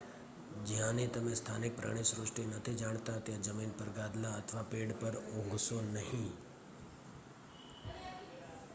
જ્યાંની તમે સ્થાનિક પ્રાણીસૃષ્ટિ નથી જાણતા ત્યાં જમીન પર ગાદલા અથવા પેડ પર ઊંઘશો નહીં